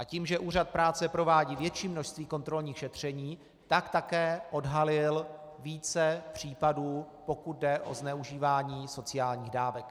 A tím, že Úřad práce provádí větší množství kontrolních šetření, tak také odhalil více případů, pokud jde o zneužívání sociálních dávek.